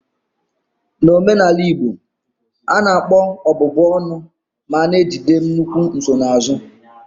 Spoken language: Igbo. N'omenala Igbo, a na-akpọ ọbụbụ ọnụ ma na-ejide nnukwu nsonaazụ.